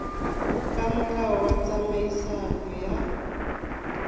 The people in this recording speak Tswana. ka molao wa tsamaiso ya